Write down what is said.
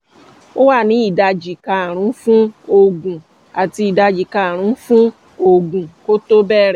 ó wà ní ìdajì karùn-ún fún ọ̀gùn àti ìdajì karùn-ún fún ọ̀gùn kó tó bẹ̀rẹ̀